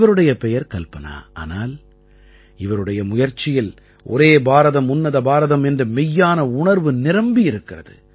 இவருடைய பெயர் கல்பனா ஆனால் இவருடைய முயற்சியில் ஒரே பாரதம் உன்னத பாரதம் என்ற மெய்யான உணர்வு நிரம்பி இருக்கிறது